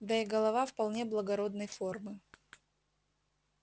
да и голова вполне благородной формы